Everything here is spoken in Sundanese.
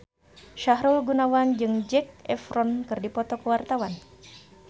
Sahrul Gunawan jeung Zac Efron keur dipoto ku wartawan